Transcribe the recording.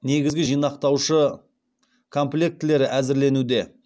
негізгі жинақтаушы комплектілері әзірленуде